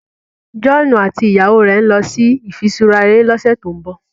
John àti ìyàwó rẹ nlọ sí ifiṣura eré lọsẹ to'n bọ